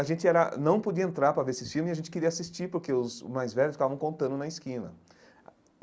A gente era não podia entrar para ver esses filmes e a gente queria assistir porque os os mais velhos ficavam contando na esquina.